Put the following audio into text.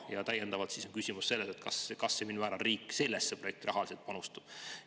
" Ja täiendav küsimus on selle kohta, kas ja mil määral riik sellesse projekti rahaliselt panustab.